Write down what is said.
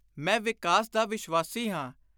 ਮੈਂ ਵਿਕਾਸ ਦਾ ਵਿਸ਼ਵਾਸੀ ਹਾਂ।